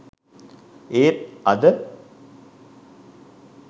ඒත් අද